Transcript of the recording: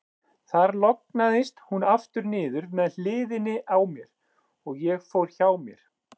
Þar lognaðist hún aftur niður með hliðinni á mér, og ég fór hjá mér.